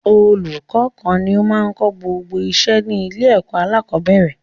Ọlùkọ́ kan ni o máa n kó gbogbo iṣẹ́ ní ilé ẹ̀kọ́ alákọ̀bẹ́rẹ̀